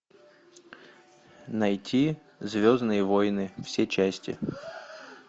найти звездные войны все части